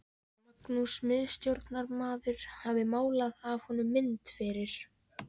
Magnús miðstjórnarmaður hafði málað af honum mynd fyrir